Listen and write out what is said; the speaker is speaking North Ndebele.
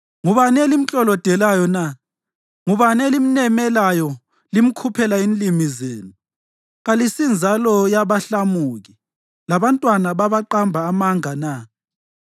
Ngubani elimklolodelayo na? Ngubani elimnemelayo limkhuphela inlimi zenu? Kalisinzalo yabahlamuki, labantwana babaqamba amanga na?